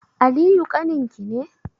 Aliyu ƙaninki ne?